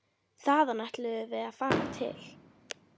Þaðan ætluðum við að fara til